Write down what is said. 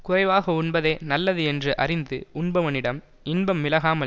குறைவாக உண்பதே நல்லது என்று அறிந்து உண்பவனிடம் இன்பம் விலகாமல்